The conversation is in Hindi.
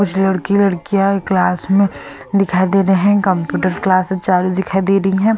कुछ लड़की लड़कियां क्लास में दिखाई दे रहे हैं कंप्यूटर क्लासेस चालू दिखाई दे रही हैं।